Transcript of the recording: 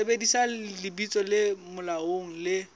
sebedisa lebitso le molaong le